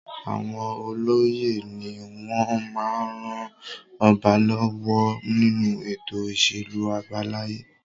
Àwọn olóyè ni wọ́n máa ń ran ọba lọ́wọ́ nínú ètò ìṣèlú àbáláyé.